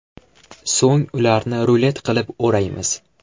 So‘ng ularni rulet qilib o‘raymiz.